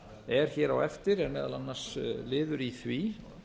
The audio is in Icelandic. er hér á eftir er meðal annars liður í því